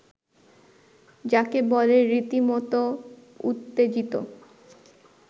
যাকে বলে রীতিমতো উত্তেজিত